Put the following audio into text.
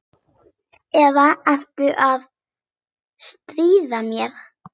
Eða ertu að stríða mér?